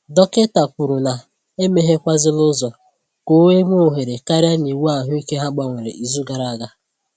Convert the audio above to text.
Dọkịta kwuru na e meghekwàzịla ụzọ ka e nwee ohere karịa n’iwu ahụike ha gbanwere izu gara aga